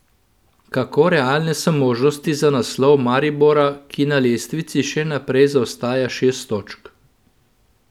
Kako realne so možnosti za naslov Maribora, ki na lestvici še naprej zaostaja šest točk?